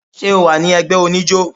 ṣe ọ wa ni ẹgbẹ onijo?